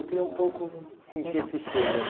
Eu queria um pouco sentir esse cheiro dessa